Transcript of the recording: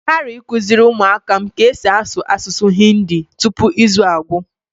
Ị ghari ịkuziri ụmụ áká m ka esi asụ asụsụ Hindi tupu izu a agwụ!